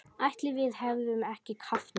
Ætli við hefðum ekki kafnað?